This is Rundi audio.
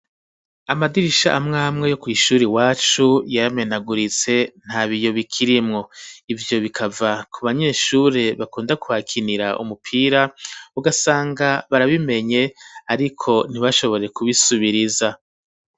Amadirisha amwe amwe yo kw’ishuri iwacu, yaramenaguritse nta biyo bikirimwo, ivyo bikava ku banyeshuri bakunda kuhakinira umupira, ugasanga barabimenye ariko ntibashobore kubisubiriza.